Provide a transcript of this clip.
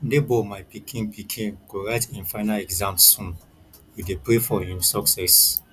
nebor my pikin pikin go write him final exams soon we dey pray for him success